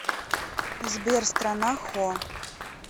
сбер страна хо